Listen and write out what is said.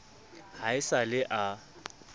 ha e sa le a